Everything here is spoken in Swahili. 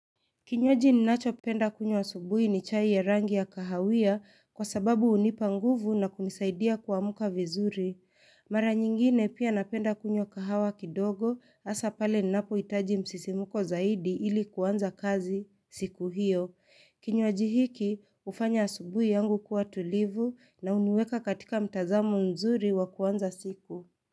Kinywaji ninachopenda kunywa asubui ni chai ya rangi ya kahawia kwa sababu unipa nguvu na kumisaidia kumka vizuri. Mara nyingine pia napenda kunywa kahawa kidogo asa pale ninapohitaji msisimko zaidi ili kuanza kazi siku hiyo. Kinywaji hiki hufanya asubui yangu kuwa tulivu na huniweka katika mtazamo mzuri wa kuanza siku.